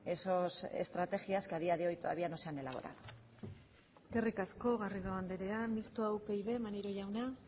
esas estrategias que a día de hoy todavía no se han elaborado eskerrik asko garrido andrea mistoa upyd maneiro jauna